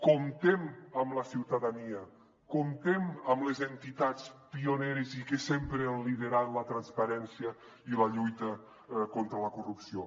comptem amb la ciutadania comptem amb les entitats pioneres i que sempre han liderat la transparència i la lluita contra la corrupció